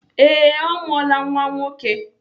Ee, ọ mụọla nwa nwoke.